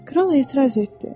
Kral etiraz etdi.